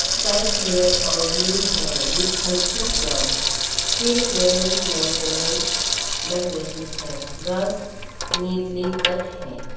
Sky clear और blue है with हल्के क्लाउड फील्ड वेल मेंटेनेंस लग रही है ग्रास नीटली कट है।